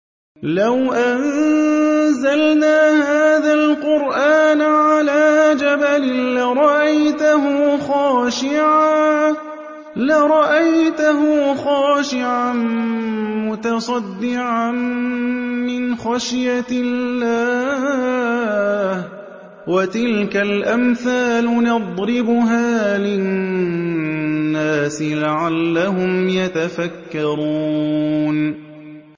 لَوْ أَنزَلْنَا هَٰذَا الْقُرْآنَ عَلَىٰ جَبَلٍ لَّرَأَيْتَهُ خَاشِعًا مُّتَصَدِّعًا مِّنْ خَشْيَةِ اللَّهِ ۚ وَتِلْكَ الْأَمْثَالُ نَضْرِبُهَا لِلنَّاسِ لَعَلَّهُمْ يَتَفَكَّرُونَ